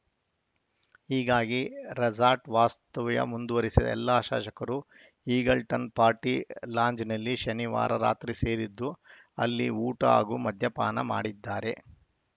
ಹೀಗಾಗಿ ರೆಸಾರ್ಟ್‌ ವಾಸ್ತವ್ಯ ಮುಂದುವರೆಸಿದ ಎಲ್ಲಾ ಶಾಸಕರು ಈಗಲ್ಟನ್‌ ಪಾರ್ಟಿ ಲಾಂಜ್‌ನಲ್ಲಿ ಶನಿವಾರ ರಾತ್ರಿ ಸೇರಿದ್ದು ಅಲ್ಲಿ ಊಟ ಹಾಗೂ ಮದ್ಯಪಾನ ಮಾಡಿದ್ದಾರೆ